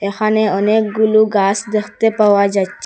এখানে অনেকগুলো গাস দেখতে পাওয়া যাইচ--